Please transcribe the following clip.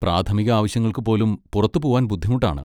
പ്രാഥമിക ആവശ്യങ്ങൾക്കു പോലും പുറത്തുപോവാൻ ബുദ്ധിമുട്ടാണ്.